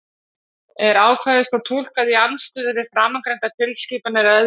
Er ákvæðið svo túlkað í andstöðu við framangreindar tilskipanir að öðru leyti?